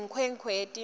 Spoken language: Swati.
yenkhwekhweti